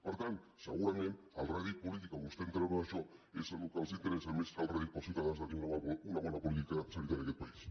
per tant segurament el rèdit polític que vostès en treuen d’això és el que els interessa més que el rèdit per als ciutadans de tindre una bona política sanitària en aquest país